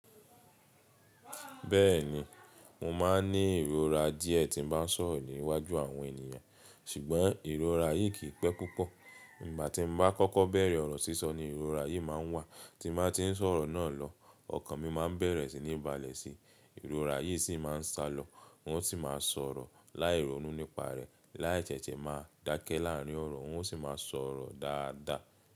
Bẹ́ẹ̀ni, mo máa ń ní ìrora díẹ̀ tí n bá ń sọ̀rọ̀ níwájú àwọn ènìyàn, ṣùgbọ́n ìrora yìí kìí pẹ́ púpọ̀. Nígbà tí n bá kọ́kọ́ bẹ̀rẹ̀ ọ̀rọ̀ sísọ ni ìrora yìí máa ń wà, tí n bá ti ń sọ̀rọ̀ náà lọ, ọkàn mi màá ń bẹ̀rẹ̀ sí ní balẹ̀ síi, ìrora yìí sì máa ń salọ, n sì máa sọ̀rọ̀ láìrọnu nípa rẹ̀, láì ṣẹ́ṣẹ́ máa dákẹ́ láàrín ọ̀rọ̀, n o ṣì máa sọ̀rọ̀ dáadáa.